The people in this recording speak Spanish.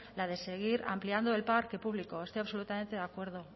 la de seguir ampliando el parque público estoy absolutamente de acuerdo